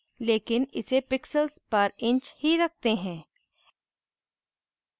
लेकिन इसे pixels पर inch ही रखते हैं